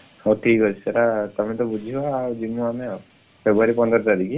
ହଉ ଠିକ୍ ଅଛି ସେଇଟା ତମେ ତ ବୁଝିବ ଯିବୁ ଆମେ ଆଉ, February ପନ୍ଦର ତାରିଖ।